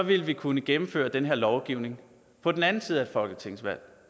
ville vi kunne gennemføre den her lovgivning på den anden side af et folketingsvalg